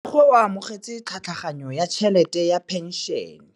Rragwe o amogetse tlhatlhaganyô ya tšhelête ya phenšene.